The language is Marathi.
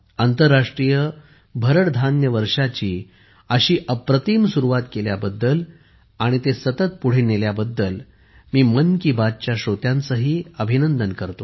आंतरराष्ट्रीय भरड धान्य वर्षाची अशी अप्रतिम सुरुवात केल्याबद्दल आणि ते सतत पुढे नेल्याबद्दल मी मन की बातच्या श्रोत्यांचेही अभिनंदन करतो